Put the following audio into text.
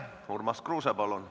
Urmas Kruuse, palun!